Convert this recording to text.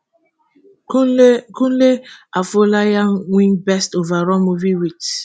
kunle kunle afolayan win best overall movie wit